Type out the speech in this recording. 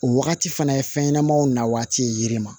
O wagati fana ye fɛn ɲɛnamaw na waati yiri ma